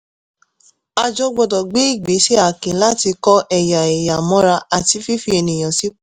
àjọ gbọ́dọ̀ gbé ìgbésẹ̀ akin láti kọ́ ẹ̀yà ẹ̀yà mọ́ra àti fífi ènìyàn sípò.